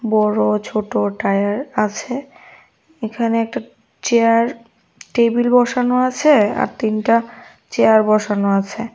বড় ছোট টায়ার আছে এখানে একটা চেয়ার টেবিল বসানো আছে আর তিনটা চেয়ার বসানো আছে।